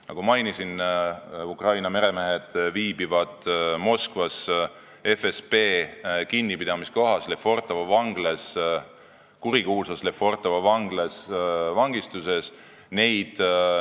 Nagu mainisin, Ukraina meremehed viibivad Moskvas FSB kinnipidamiskohas, kurikuulsas Lefortovo vanglas vangistuses.